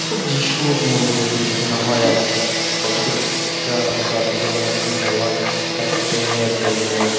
খুব যিশুর মন্দির আর যেখানে হয় আর কি প্রত্যেকটা জাতির যেমন একজন ভগবান থাকেন তেমন একজন মানে।